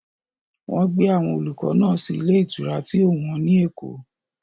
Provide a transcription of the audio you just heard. Wọ́n gbé àwọn olùkọ́ náà sí ilé ìtura tí ó wọ́n ní Èkó.